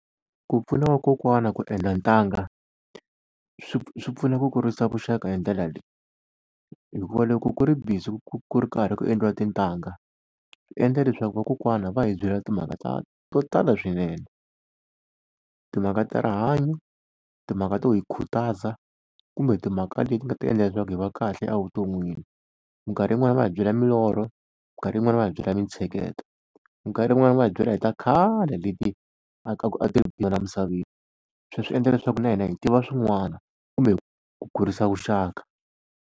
Ku pfuna vakokwana ku endla ntanga, swi swi pfuna ku kurisa vuxaka hi ndlela leyi. Hikuva loko ku ri busy ku ku ri karhi ku endliwa tintanga swi endla leswaku vakokwana va hi byela timhaka ta to tala swinene. Timhaka ta rihanyo, timhaka to hi khutaza, kumbe timhaka leti nga ta endla leswaku hi va kahle evuton'wini. Minkarhi yin'wani va hi byela milorho, minkarhi yin'wani va hi byela mintsheketo, minkarhi yin'wani va hi byela hi ta khale leti a ti ri kona emisaveni. Se swi endla leswaku na hina hi tiva swin'wana kumbe ku kurisa vuxaka.